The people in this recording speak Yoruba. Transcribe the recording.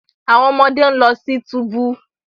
Awọn ọmọde n lọ si tubu